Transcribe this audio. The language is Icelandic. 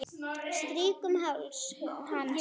Strýk um háls hans.